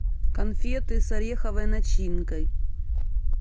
конфеты с ореховой начинкой